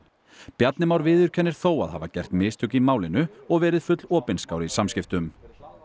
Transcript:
Bjarni Már viðurkennir þó að hafa gert mistök í málinu og verið full opinskár í samskiptum